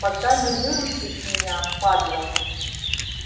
пока не выручишь меня падла